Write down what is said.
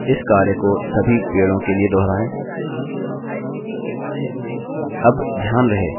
इस कार्य को सभी पेड़ों के लिए दोहराएँ